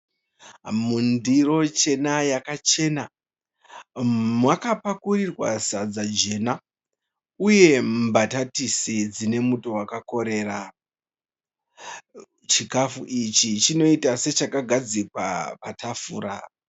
Mundiro chena yakachena makapakurirwa sadza jena uye mbatatisi dzine muto wakakorera. Chikafu ichi chinoita sechakagadzikwa patafura.